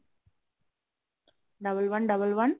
double one double one